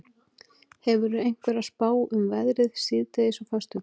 hefurðu einhverja spá um veðrið síðdegis á föstudag